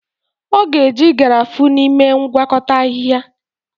Ọ ga-eji Garafuni mee ngwakọta ahịhịa.